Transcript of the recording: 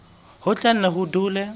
ho tla nne ho dule